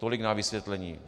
Tolik na vysvětlení.